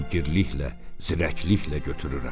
Fəngirliklə, zirəkliklə götürürəm."